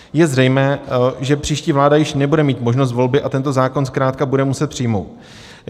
Je zřejmé, že příští vláda již nebude mít možnost volby a tento zákon zkrátka bude muset přijmout.